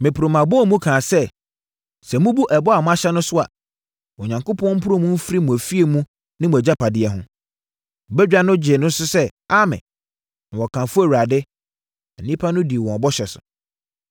Meporoo mʼabɔɔmu mu kaa sɛ, “Sɛ mobu ɛbɔ a moahyɛ no so a, Onyankopɔn mporo mo mfiri mo afie mu ne mo agyapadeɛ ho!” Badwa no gyee so sɛ, “Amen.” Na wɔkamfoo Awurade. Na nnipa no dii wɔn bɔhyɛ so.